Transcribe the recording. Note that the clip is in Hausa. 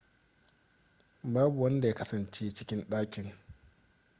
babu wanda ya kasance cikin ɗakin